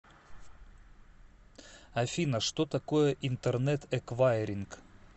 афина что такое интернет эквайринг